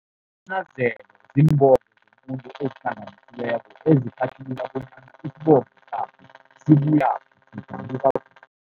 Isinanazelo ziimbongo zomuntu ezihlanganisiweko ezihlathulula bonyana isibongo sakhe sibuyaphi